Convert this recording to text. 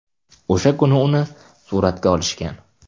O‘sha kuni uni suratga olishgan.